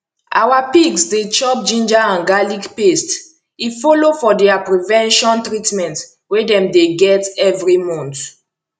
our pigs dey chop ginger and garlic paste e follow for their prevention treatment wey dem dey get every month